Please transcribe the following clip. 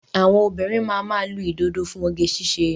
Àwọn òbinrín máa ma lu ìdodo fún oge ṣíṣe